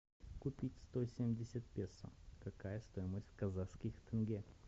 купить сто семьдесят песо какая стоимость в казахских тенге